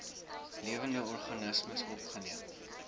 lewende organismes opgeneem